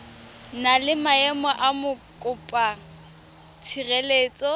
na le maemo a mokopatshireletso